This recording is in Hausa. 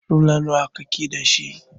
Rula nawa kake da shi?